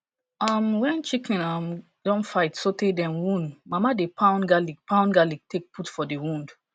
um wen chicken um don fight sotey dem wound mama dey pound garlic pound garlic take put for d wound